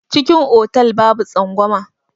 Cikin otal babu tsangwama.